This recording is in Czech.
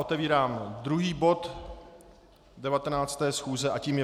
Otevírám druhý bod 19. schůze a tím je